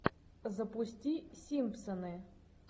запусти симпсоны